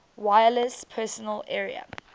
wireless personal area